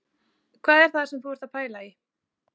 Hvað er það sem þú ert að pæla í